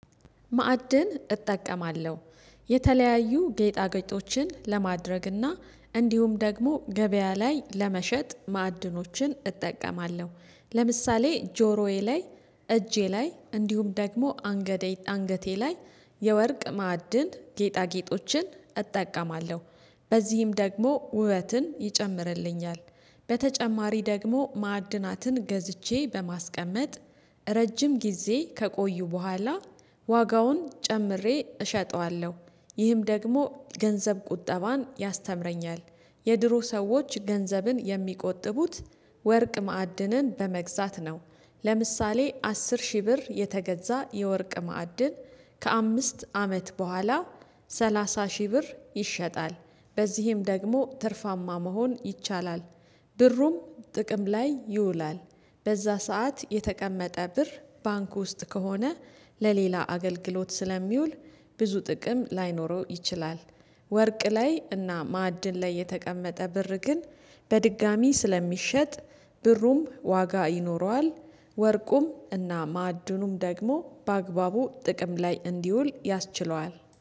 ማዕድን እጠቀማለሁ የተለያዩ ጌጣጌጦችን ለማድረግ እና እንዲሁም ደግሞ ገበያ ላይ ለመሸጥ ማዕድኖችን እጠቀማለሁ። ለምሳሌ ጆሮዬ ላይ እጄ ላይ እንዲሁም ደግሞ አንገቴ ላይ የወርቅ ማዕድን ጌጣጌጦችን እጠቀማለሁ። በዚህም ደግሞ ውበትን ይጨምርልኛል። በተጨማሪ ደግሞ ማአድናትን ገዝቼ በማስቀመጥ ረጅም ጊዜ ከቆዩ በኋላ ዋጋውን ጨምሬ እሸጠዋለሁ ይህም ደግሞ ገንዘብ ቁጠባን ያስተምረኛል። የድሮ ሰዎች ገንዘብን የሚቆጥቡት ወርቅ ማዕድንን በመግዛት ነው። ለምሳሌ አስር ሺህ ብር የተገዛ የወርቅ ማዕድን ከአምስት አመት በኋላ ሰላሳ ሺህ ብር ይሸጣል። በዚህም ደግሞ ትርፋማ መሆን ይቻላል። ብሩም ጥቅም ላይ ይውላል። በዛ ሰዓት የተቀመጠ ብር ባንክ ውስጥ ከሆነ ለሌላ አገልግሎት ስለሚውል ብዙ ጥቅም ላይኖረው ይችላል። ወርቅ ላይ እና ማዕድን ላይ የተቀመጠ ብር ግን በድጋሚ ስለሚሸጥ ብሩም ዋጋ ይኖረዋል። ወርቁም እና ማዕዐድኑም ደግሞ በአግባቡ ጥቅም ላይ እንዲውል ያስችለዋል